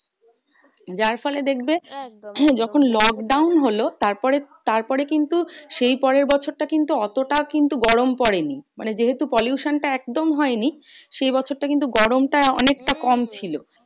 যার ফলে দেখবে যখন lockdown হলো, তারপরে তারপরে কিন্তু সেই পরের বছরটা কিন্তু অতটা কিন্তু গরম পড়েনি। মানে যেহেতু pollution টা একদম হয় নি সেই বছরটা কিন্তু গরমটা অনেকটা কম ছিল।